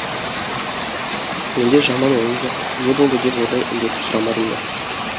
менде жаман ой жоқ не болды деп одан індетіп сұрамадым да